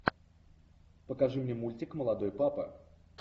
покажи мне мультик молодой папа